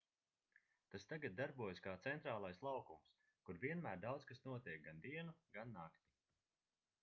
tas tagad darbojas kā centrālais laukums kur vienmēr daudz kas notiek gan dienu gan nakti